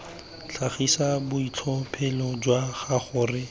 tlhagisa boitlhophelo jwa gago re